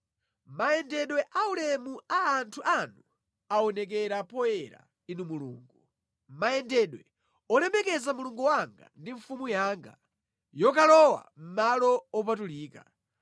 Mayendedwe aulemu a anthu anu aonekera poyera, Inu Mulungu; mayendedwe olemekeza Mulungu wanga ndi Mfumu yanga yokalowa mʼmalo opatulika.